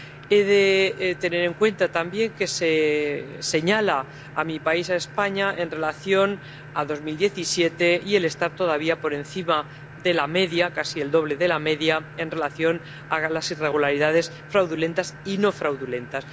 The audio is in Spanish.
He de tener en cuenta también que se señala a mi país, España, por estar en 2017 todavía por encima de la media —casi el doble de la media— en relación con las irregularidades fraudulentas y no fraudulentas